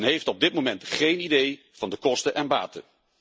Men heeft op dit moment geen idee van de kosten en baten.